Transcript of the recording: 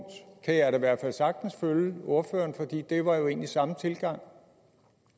kan jeg i hvert fald sagtens følge ordføreren for det var jo egentlig samme tilgang